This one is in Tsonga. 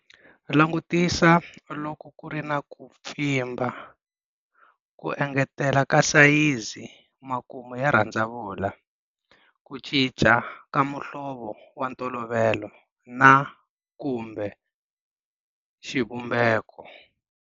Langutisa loko ku ri na ku pfimba, ku engetela ka sayizi, makumu ya rhandzavula, ku cinca ka muhlovo wa ntolovelo na kumbe xivumbeko.